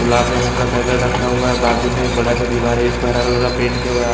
गुलाब जामुन का पैकेट रखा हुआ है। बाजु में एक बड़ा सा दिवार है जिसमे हरा कलर का पेंट किया हुआ है ।